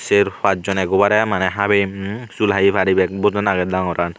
cher paj joney eggubarey maneh habim sul habi paribak bojaan agey dangoran.